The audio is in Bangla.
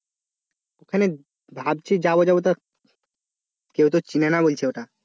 ওখানে ভাবছি যাব যাব তা কেউ তো চিনে না বলছে ওটা